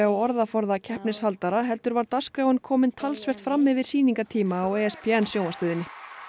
á orðaforða keppnishaldara heldur var dagskráin komin talsvert fram yfir sýningartíma á sjónvarpsstöðinni